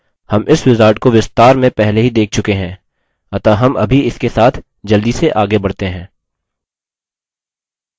हम इस wizard को विस्तार में पहले ही देख चुके हैं अतः हम अभी इसके साथ जल्दी से आगे बढ़ते हैं